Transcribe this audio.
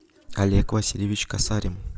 олег васильевич касарин